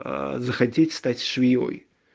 а захотите стать швеёй